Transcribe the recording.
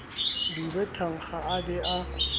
dube thankga a be a